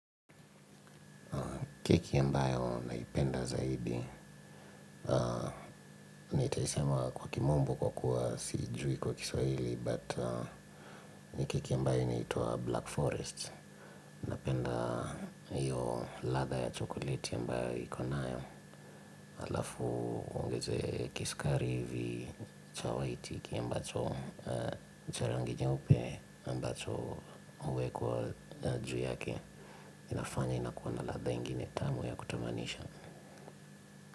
Keki ambayo naipenda zaidi. Nitaisema kwa kimombo kwa kuwa siijui kwa kiswahili, but ni keki ya mbayo inaitwa Black Forest. Napenda hiyo latha ya chokolite ambayo iko nayo. Alafu ungeze kisukari hivi cha waiti kia mbacho. Ni cha rangi jeupe ambacho huwkwa juu yake. Inafanya inakuwa na ladha ingine tamu ya kutamanisha.